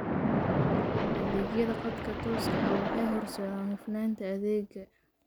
Adeegyada khadka tooska ah waxay horseedaan hufnaanta adeegga.